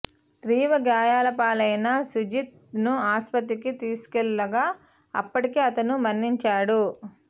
తీవ్ర గాయాలపాలైన సుజిత్ ను ఆసుపత్రికి తీసుకెళ్లగా అప్పటికే అతను మరణించాడు